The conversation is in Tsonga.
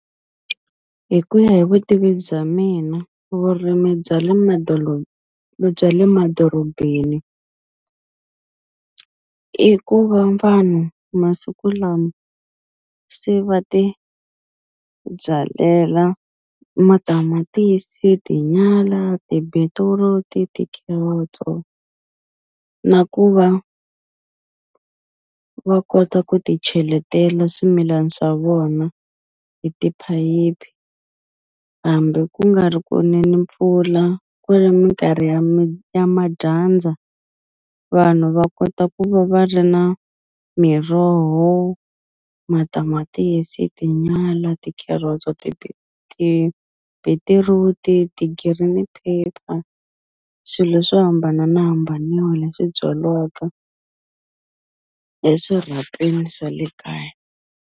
Hi ku ya hi vutivi bya mina vurimi bya le bya le madorobeni i ku va vanhu masiku lama se va ti byalela matamatisi, tinyala, ti-beetroot, ti-carrots-o na ku va va kota ku ti cheletela swimilani swa vona hi tiphayiphi hambi ku nga ri ku ne ni mpfula ku ri minkarhi ya ya madyandza vanhu va kota ku va va ri na miroho, matamatisi, tinyala, ti-carrots-o tibitiruti, ti-green pepper swilo swo hambanana leswi byaliwaka eswirhapeni swa le kaya.